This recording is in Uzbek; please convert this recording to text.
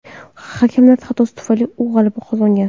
Hakamlar xatosi tufayli u g‘alaba qozongan.